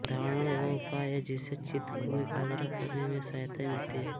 धारणा वह उपाय है जिससे चित्त को एकाग्र करने में सहायता मिलती है